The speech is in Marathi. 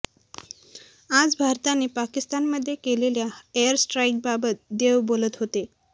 आज भारताने पाकिस्तानमध्ये केलेल्या एअर स्ट्राईकबाबत देव बोलत होते